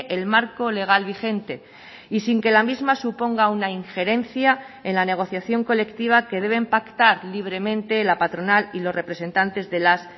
el marco legal vigente y sin que la misma suponga una injerencia en la negociación colectiva que deben pactar libremente la patronal y los representantes de las